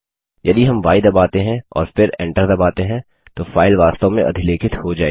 यदि हम य दबाते हैं और फिर एंटर दबाते हैं तो फाइल वास्तव में अधिलेखित हो जायेगी